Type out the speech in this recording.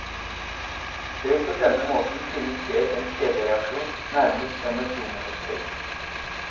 Det vil på denne måten finne sted en kjedereaksjon, nærmest som et dominospill.